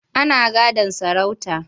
Ana gadon sarauta.